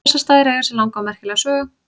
Bessastaðir eiga sér langa og merkilega sögu.